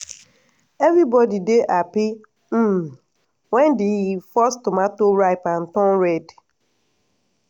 everybody dey happy um when the first tomato ripe and turn red.